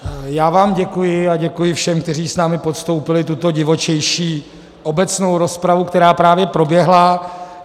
Já vám děkuji a děkuji všem, kteří s námi podstoupili tuto divočejší obecnou rozpravu, která právě proběhla.